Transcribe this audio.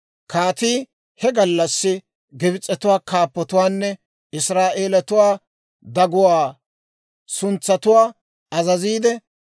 Kaatii he gallassi Gibs'etuwaa kaappotuwaanne Israa'eeletuwaa daguwaa suntsatuwaa azaziide,